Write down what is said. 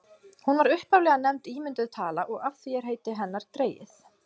hún var upphaflega nefnd ímynduð tala og af því er heiti hennar dregið